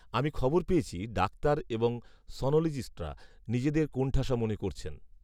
আমি খবর পেয়েছি, ডাক্তার এবং সনোলজিস্টরা, নিজেদের কোণঠাসা মনে করছেন